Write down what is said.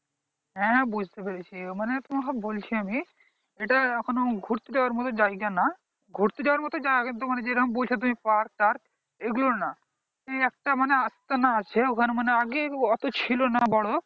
হ্যাঁ হ্যাঁ বুঝতে পেরেছি মানে তোমাকে বলছি আমি এইটা এখনো ঘুরতে যাওয়ার মতো জায়গা না ঘুরতে যাবার মতন জায়গা যেরকম বলছো তুমি park টার্ক এইগুলা না একটা মানে আস্তানা আছে ওখানে মানে আগে ওতো ছিল না বড়ো